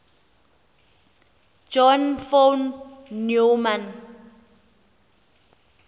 john von neumann